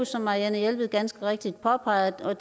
som marianne jelved ganske rigtigt påpegede og